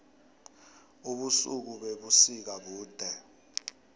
ubusuku bebusika bude